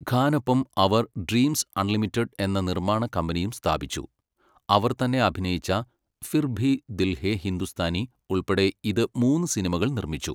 ഖാനൊപ്പം അവർ 'Dreams Unlimited' എന്ന നിർമ്മാണ കമ്പനിയും സ്ഥാപിച്ചു. അവർ തന്നെ അഭിനയിച്ച 'ഫിർ ഭി ദിൽ ഹേ ഹിന്ദുസ്ഥാനി' ഉൾപ്പെടെ ഇത് മൂന്ന് സിനിമകൾ നിർമ്മിച്ചു.